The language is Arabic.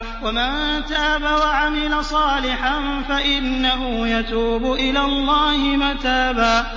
وَمَن تَابَ وَعَمِلَ صَالِحًا فَإِنَّهُ يَتُوبُ إِلَى اللَّهِ مَتَابًا